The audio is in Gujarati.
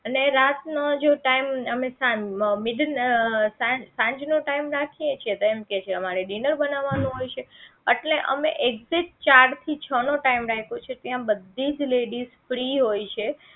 અને રાત નો જો time અમે middle અમે સાંજનો time રાખીએ છે તો કે સાંજે અમારે dinner બનાવવાનું હોય છે એટલે અમે exact ચાર થી છ નો time રાખ્યો છે ત્યાં બધીજ ladies free હોય છે